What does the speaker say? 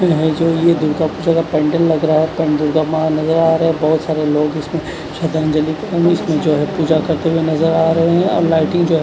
ये जो ये दीपक के जगा पेंडल लगरा है पेंडल के मा नज़र आरे बोहोत सारे लोग इसमें स्राधान्जली अंड इसमें जो है पूजा करते हुए नज़र आरे है और लाइटिंग जो है।